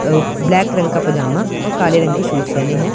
अह black रंग का पजामा और काले रंग के शूज पहने हैं।